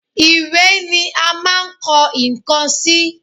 Ìwé ni à máa ń kọ nǹkan sí